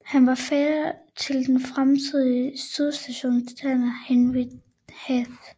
Han var fætter til den fremtidige sydstatsgeneral Henry Heth